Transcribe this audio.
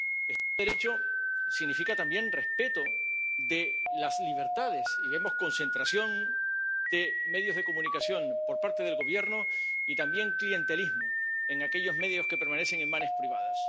Estado de Derecho significa también respeto de las libertades, y vemos concentración de medios de comunicación por parte del Gobierno y también clientelismo en aquellos medios que permanecen en manos privadas.